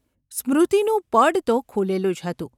સ્મૃતિનું પડ તો ખૂલેલું જ હતું.